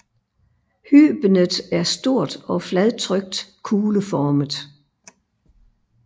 Hybenet er stort og fladtrykt kugleformet